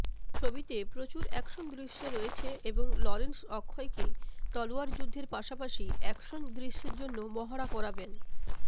ছবিতে প্রচুর অ্যাকশন দৃশ্য রয়েছে এবং লরেন্স অক্ষয়কে তলোয়ারযুদ্ধের পাশাপাশি অ্যাকশন দৃশ্যের জন্য মহড়া করাবেন